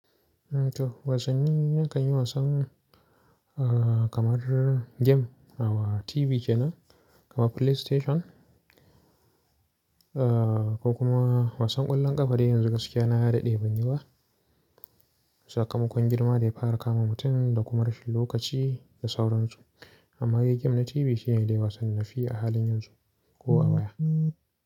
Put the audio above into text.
To, wasanni na kanyi wasan kamar gem awu TV ke nan, kamar PlayStation, ko kuma wasan ƙwallon ƙafa dai yanzu gaskiya na daɗe ban yiba. Sakamakon girma da ya fara kama mutum da kuma rashin lokaci da sauransu. Amma yi gem na TV shine dai wasan nafi a halin yanzu ko a baya.